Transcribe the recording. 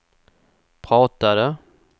pratade